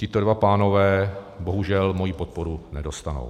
Tito dva pánové bohužel moji podporu nedostanou.